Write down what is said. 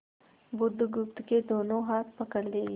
बुधगुप्त के दोनों हाथ पकड़ लिए